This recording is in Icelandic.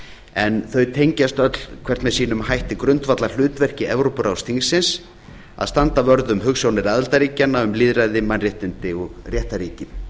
en þau tengjast öll hvert með sínum hætti grundvallarhlutverki evrópuráðsþingsins að standa vörð um hugsjónir aðildarríkjanna um lýðræði mannréttindi og réttarríki